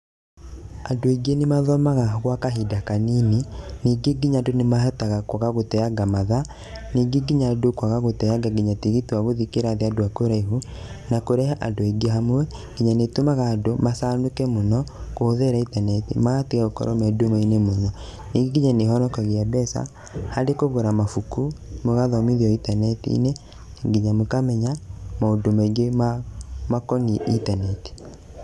Andũ aingĩ nĩmathomaga gwa kahinda kanini, ningĩ nginya andũ nĩmahotaga kwaga gũteanga mathaa, ningĩ nginya andũ kwaga gũteanga nginya tigiti wa gũthiĩ kĩrathi andũ a kũraihu, na kũrehe andũ aingĩ hamwe nginya nĩĩtũmaga andũ macanũke mũno kũhũthĩra intaneti magatiga gũkorwo me nduma-inĩ mũno. Ningĩ nginya nĩĩhonokagia mbeca harĩ kũgũra mabuku mũgathomithio intaneti-inĩ nginya mũkamenya maũndũ maingĩ makoniĩ intaneti.